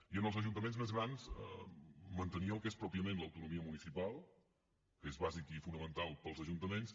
i en els ajuntaments més grans mantenir el que és pròpiament l’autonomia municipal que és bàsic i fonamental per als ajuntaments